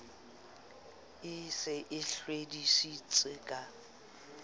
e se e hlwedisitse ka